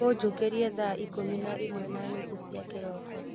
ũnjũkĩrie thaa ikũmi na ĩmwe na nuthu cia kĩroko